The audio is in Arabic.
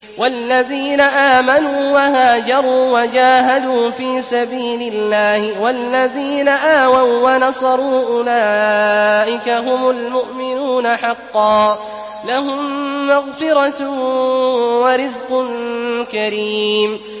وَالَّذِينَ آمَنُوا وَهَاجَرُوا وَجَاهَدُوا فِي سَبِيلِ اللَّهِ وَالَّذِينَ آوَوا وَّنَصَرُوا أُولَٰئِكَ هُمُ الْمُؤْمِنُونَ حَقًّا ۚ لَّهُم مَّغْفِرَةٌ وَرِزْقٌ كَرِيمٌ